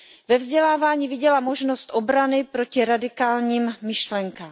Ve vzdělávání viděla možnost obrany proti radikálním myšlenkám.